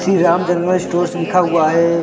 Shri Ram general stores लिखा हुआ हैं ।